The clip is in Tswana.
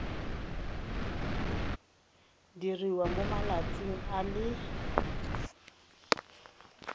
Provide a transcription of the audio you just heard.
diriwa mo malatsing a le